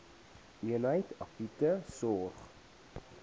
eenheid akute sorg